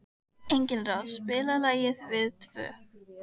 Engilráð, spilaðu lagið „Við tvö“.